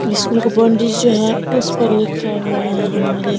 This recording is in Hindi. स्कूल का जो बॉउंड्री है उस पर लिखा हुआ है हमारे --